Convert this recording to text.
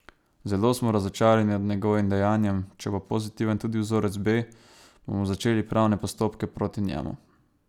Zelo smo razočarani nad njegovim dejanjem, če bo pozitiven tudi vzorec B, bomo začeli pravne postopke proti njemu.